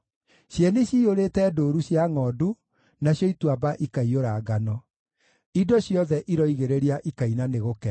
Cieni ciyũrĩte ndũũru cia ngʼondu, nacio ituamba ikaiyũra ngano; indo ciothe iroigĩrĩria ikaina nĩ gũkena.